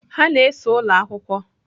Ha na-ese ụlọ akwụkwọ.